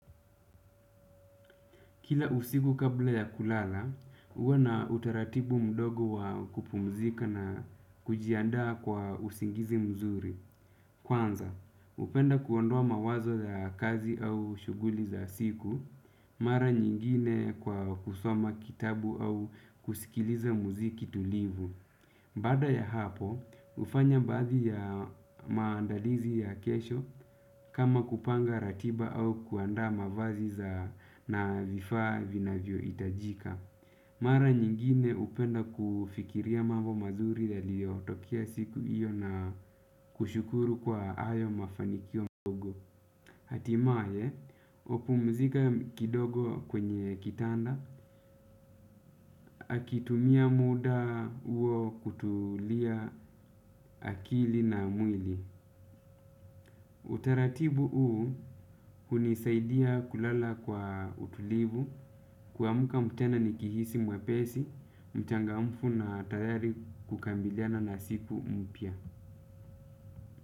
Kila usiku kabla ya kulala, huwa na utaratibu mdogo wa kupumzika na kujianda kwa usingizi mzuri. Kwanza, hupenda kuondoa mawazo ya kazi au shughuli za siku, mara nyingine kwa kusoma kitabu au kusikiliza muziki tulivu. Baada ya hapo, hufanya baadhi ya maandalizi ya kesho kama kupanga ratiba au kuanda mavazi za na vifaa vinavyo itajika. Mara nyingine hupenda kufikiria mambo mazuri yaliyo tokea siku hiyo na kushukuru kwa hayo mafanikio. Hatimaye, hupumzika kidogo kwenye kitanda, akitumia muda huo kutulia akili na mwili. Utaratibu huu hunisaidia kulala kwa utulivu kuamka tena nikihisi mwepesi, mchangamfu na tayari kukabiliana na siku mpya.